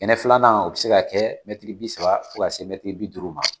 Kɛnɛ filanan o bɛ se ka kɛ mɛtiri bi saba fo ka se mɛtiri bi duuru ma